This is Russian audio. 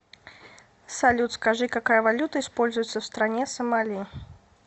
салют скажи какая валюта используется в стране сомали